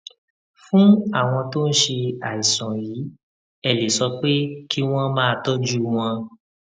fún àwọn tó ń ṣe àìsàn yìí ẹ lè sọ pé kí wón máa tójú wọn